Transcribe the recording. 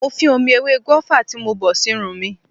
Mo fín omi ewé gùáfà tí mo bọ̀ sírun mi.